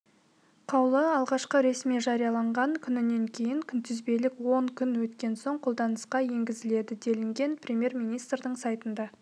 қаулы алғашқы ресми жарияланған күнінен кейін күнтізбелік он күн өткен соң қолданысқа енгізіледі делінген премьер-министрдің сайтында